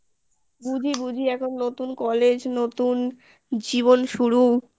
বুঝি বুঝি এখন নতুন college নতুন জীবন শুরু